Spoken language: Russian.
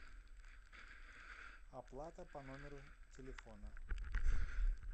оплата по номеру телефона